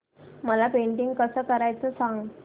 मला पेंटिंग कसं करायचं सांग